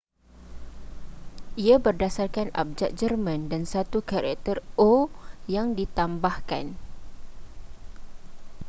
ia berdasarkan abjad jerman dan satu karakter õ/õ” yang ditambahkan